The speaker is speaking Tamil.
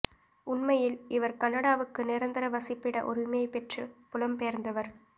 உண்மையில் இவர் கனடாவுக்கு நிரந்தர வசிப்பிட உரிமைபெற்றுப் புலம் பெயர்ந்தவர்